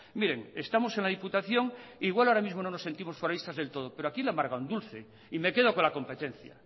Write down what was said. miren estamos en la diputación igual ahora mismo no nos sentimos foralistas del todo pero aquí le amarga un dulce y me quedo con la competencia